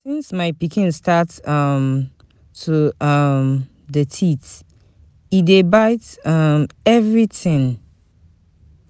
Since my pikin start um to um dey teeth, e dey bite um everytin.